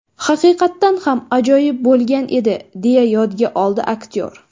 Haqiqatan ham, ajoyib bo‘lgan edi”, deya yodga oldi aktyor.